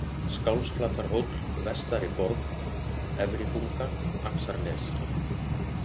Skálsflatarhóll, Vestari-Borg, Efribunga, Axarnes